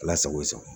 Ala sago i sago